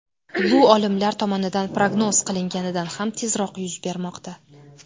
Bu olimlar tomonidan prognoz qilinganidan ham tezroq yuz bermoqda.